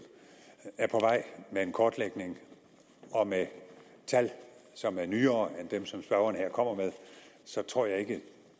er på vej med en kortlægning og med tal som er nyere end dem som spørgeren her kommer med så tror jeg ikke